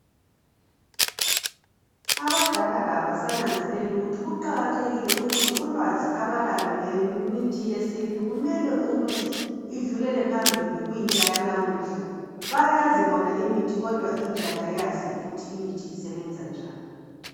Abadala abasanenzelei ukuthi kuqakathekile ukuthi ulwazi abalalo ngemithi yesintu kumele ukuthi idlulele phambili ku intsha yalamuhla, bayazi bona imithi kodwa intsha kayazi ukuthi imithi isebenza njani